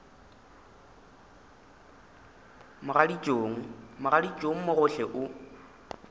mogaditšong mogaditšong mo gohle o